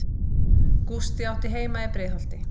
Gústi átti heima í Breiðholti.